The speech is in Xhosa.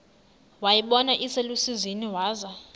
wayibona iselusizini waza